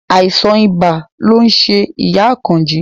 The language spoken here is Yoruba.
Àìsàn ibà lo ń ṣe ìyá Àkànjí